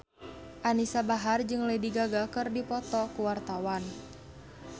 Anisa Bahar jeung Lady Gaga keur dipoto ku wartawan